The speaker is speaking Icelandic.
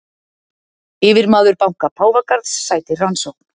Yfirmaður banka Páfagarðs sætir rannsókn